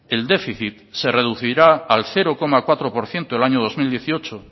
el déficit se reducirá al cero coma cuatro por ciento el año dos mil dieciocho